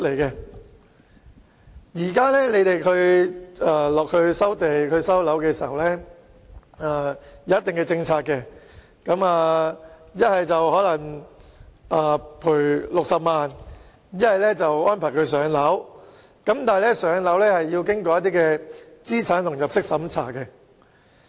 現時當局有既定的收地和收樓政策，要麼賠償60萬元，不然就安排居民"上樓"，但"上樓"卻需要經過資產和入息審查。